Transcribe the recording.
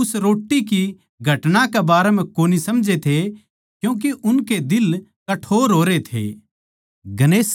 चेल्लें उस रोट्टी की घटना के बारै म्ह कोनी समझै थे क्यूँके उनके दिल कठोर होरे थे